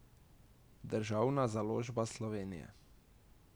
Državna založba Slovenije.